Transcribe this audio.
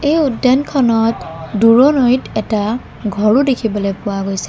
এই উদ্যানখনত দূৰণৈত এটা ঘৰো দেখিবলৈ পোৱা গৈছে।